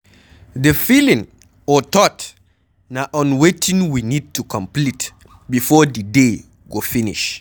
The feeling or thought na on wetin we need to complete before di day go finish